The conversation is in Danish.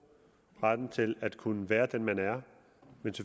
retten til at kunne være den man er